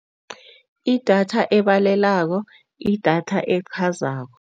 Idatha ebalelako, idatha elichazako.